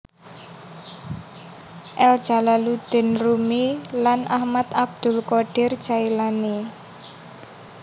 El Jalaluddin Rumi lan Ahmad Abdul qodir Jaelani